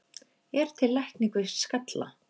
Er til lækning við skalla?